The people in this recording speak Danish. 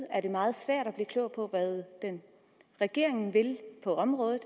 er meget svært at blive klog på hvad regeringen vil på området